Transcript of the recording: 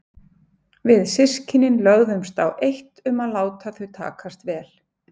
Við systkinin lögðumst á eitt um að láta þau takast vel.